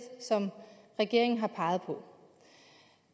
som regeringen har peget på